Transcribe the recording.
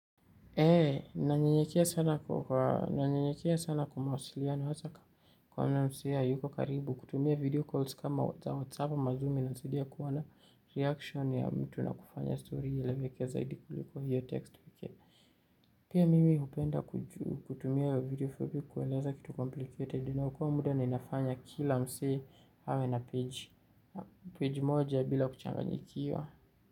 Eee, nanyenyekea sana kwa nanyenyekea sana kwa mawasiliano wazaka kwa mna msi ya yuko karibu kutumia video calls kama za whatsapp wa mazoomi na sedia kuwa na reaction ya mtu na kufanya story yaeleweke zaidi kuliko hiyo text vikia. Pia mimi hupenda kutumia video fupi kueleza kitu complicated. Dina hukua muda na inafanya kila msee awe na page. Page moja bila kuchanganyikiwa.